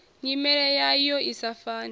nyimele yayo i sa fani